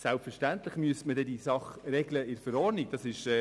Selbstverständlich müsste man diese Sache dann in der Verordnung regeln.